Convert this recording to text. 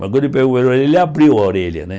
Mas quando ele me pegou pela orelha, ele abriu a orelha, né?